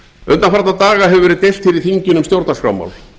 undanfarna daga hefur verið deilt hér í þinginu um stjórnarskrármál